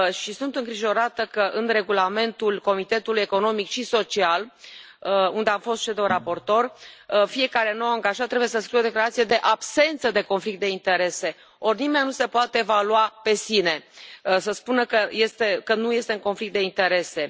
Sunt îngrijorată că, în regulamentul Comitetului Economic și Social, unde a fost CEDO raportor, fiecare nou angajat trebuie să scrie o declarație de absență de conflict de interese, ori nimeni nu se poate evalua pe sine, să spună că nu este în conflict de interese.